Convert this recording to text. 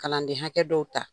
Kalanden hakɛ dɔw ta.